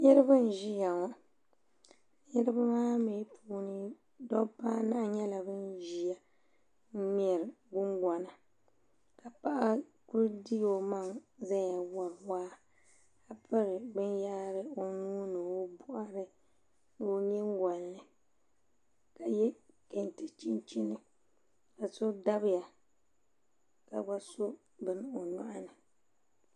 niriba n-ʒia ŋɔ niriba maa mi puuni dɔbba anahi nyɛla ban ʒia n-ŋmɛri gungɔna ka paɣa kuli di o maŋa zaya wari waa ka piri binyɛhiri o nuu ni o bɔɣiri ni o nyingoli ni ka ye kenti chinchini ka so dabiya ka gba so bini o nyɔɣi ni